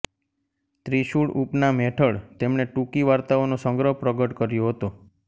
ત્રિશુળ ઉપનામ હેઠળ તેમણે ટૂંકી વાર્તાઓનો સંગ્રહ પ્રગટ કર્યો હતો